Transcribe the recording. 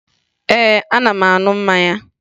Ee, ana m aṅụ mmanya